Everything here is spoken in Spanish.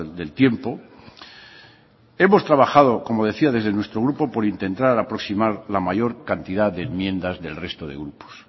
del tiempo hemos trabajado como decía desde nuestro grupo por intentar aproximar la mayor cantidad de enmiendas del resto de grupos